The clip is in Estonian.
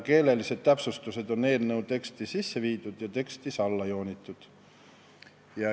Keelelised täpsustused on eelnõu teksti sisse viidud ja alla joonitud.